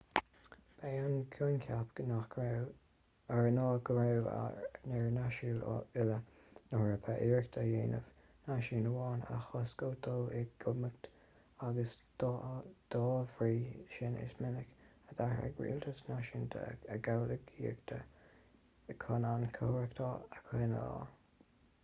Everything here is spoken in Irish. ba é an coincheap ná go raibh ar náisiúin uile na heorpa iarracht a dhéanamh náisiún amháin a chosc ó dhul i gcumhacht agus dá bhrí sin is minic a d'athraigh rialtais náisiúnta a gcomhghuaillíochtaí chun an chothromaíocht a choinneáil